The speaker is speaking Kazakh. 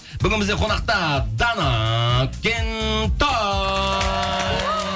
бүгін бізде қонақта дана кентай